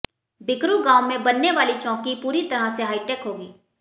बिकरू गांव में बनने वाली चौकी पूरी तरह से हाईटेक होगी